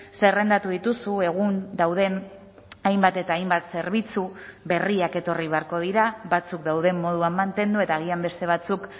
zerrendatu dituzu egun dauden hainbat eta hainbat zerbitzu berriak etorri beharko dira batzuk dauden moduan mantendu eta agian beste batzuk